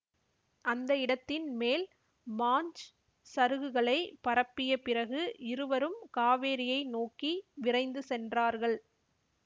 அந்த இடத்தின் மேல் மாஞ் சருகுகளைப் பரப்பிய பிறகு இருவரும் காவேரியை நோக்கி விரைந்து சென்றார்கள்